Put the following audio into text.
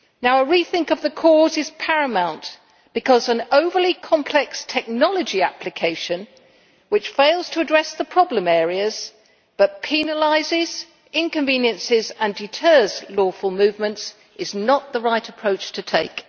A rethink of the cause is paramount, because an overly complex technology application which fails to address the problem areas but which penalises, inconveniences and deters lawful movements is not the right approach to take.